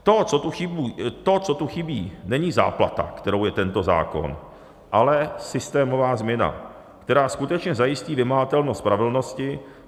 To, co tu chybí, není záplata, kterou je tento zákon, ale systémová změna, která skutečně zajistí vymahatelnost spravedlnosti.